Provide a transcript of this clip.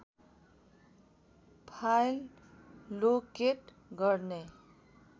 file locate गर्ने